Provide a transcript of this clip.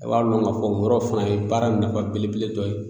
A b'a lɔn k'a fɔ n yɔrɔw fana ye baara n nafa belebele dɔ ye